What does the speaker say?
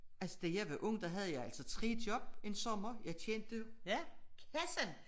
Altså da jeg var ung der havde jeg altså 3 job en sommer jeg tjente kassen